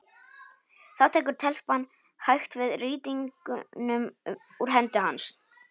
Þá tekur telpan hægt við rýtingnum úr hendi hans.